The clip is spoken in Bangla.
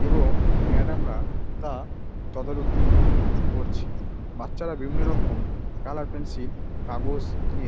এবং ম্যাডাম -রা তা তদারনোকি করছে। বাচ্চারা বিভিন্ন রোকমম কালার পেন্সিল কাগজ নিয়ে--